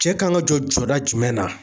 Cɛ kan ka jɔ jɔda jumɛn na?